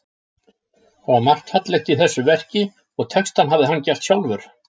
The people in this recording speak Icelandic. Það var margt fallegt í þessu verki og textann hafði hann gert sjálfur.